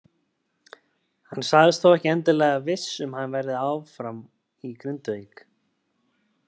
Hann sagðist þó ekki endilega viss um að hann verði þá áfram í Grindavík.